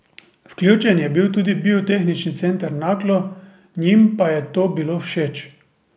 Vključen je bil tudi Biotehnični center Naklo, njim pa je to bilo všeč.